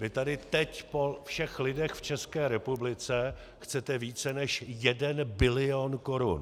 Vy tady teď po všech lidech v České republice chcete více než 1 bilion korun.